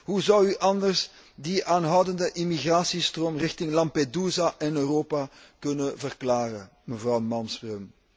Hoe zou u anders die aanhoudende emigratiestroom richting Lampedusa en Europa kunnen verklaren, mevrouw Malmström?